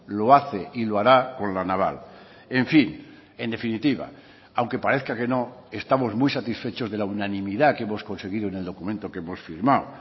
lo hace y lo hará con la naval en fin en definitiva aunque parezca que no estamos muy satisfechos de la unanimidad que hemos conseguido en el documento que hemos firmado